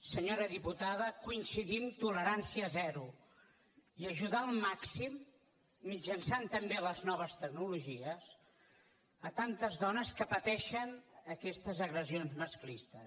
senyora diputada coincidim tolerància zero i ajudar al màxim mitjançant també les noves tecnologies tantes dones que pateixen aquestes agressions masclistes